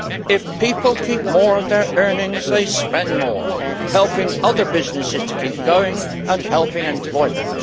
If people keep more of their earnings, they spend more, helping other businesses to keep going and helping employment.